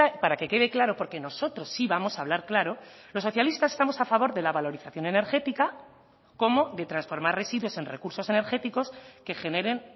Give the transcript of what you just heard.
para que quede claro porque nosotros sí vamos a hablar claro los socialistas estamos a favor de la valorización energética como de transformar residuos en recursos energéticos que generen